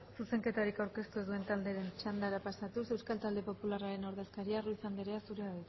zuzenketarik aurkeztu ez duen taldeen txandara pasatuz euskal talde popularraren ordezkaria rojo andrea zurea